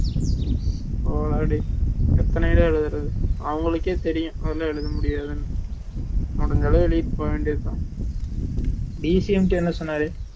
போடா டேய் எத்தனைய தான் எழுதுறது அவங்களுக்கே தெரியும் எவளோலாம் எழுத முடியாதுன்னு முடுஞ்ச அளவுக்கு எழுதிட்டு போக வேண்டியது தான்